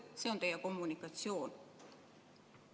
See on teie kommunikatsioon.